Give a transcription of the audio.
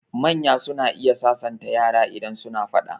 Manya suna iya sasanta yara idan suna faɗa.